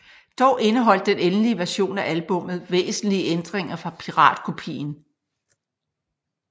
Dog indeholdt den endelige version af albummet væsentlige ændringer fra piratkopien